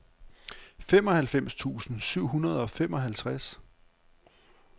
femoghalvfems tusind syv hundrede og femoghalvtreds